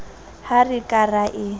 ha re ka ra e